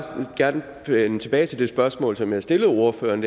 gerne vende tilbage til det spørgsmål som jeg stillede ordføreren